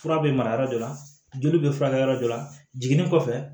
Fura bɛ mara yɔrɔ dɔ la joli bɛ furakɛ yɔrɔ dɔ la jiginni kɔfɛ